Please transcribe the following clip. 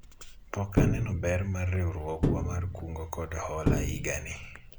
pok aneno ber mar riwruogwa mar kungo kod hola higa ni